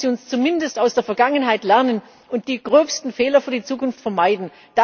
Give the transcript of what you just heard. Lassen Sie uns zumindest aus der Vergangenheit lernen und die gröbsten Fehler für die Zukunft vermeiden.